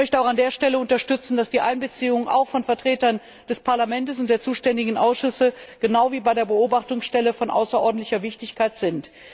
Ich möchte an dieser Stelle auch unterstützen, dass die Einbeziehung auch von Vertretern des Parlamentes und der zuständigen Ausschüsse genau wie bei der Beobachtungsstelle von außerordentlicher Wichtigkeit ist.